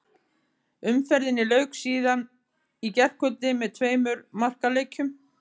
Umferðinni lauk síðan í gærkvöldi með tveimur markaleikjum.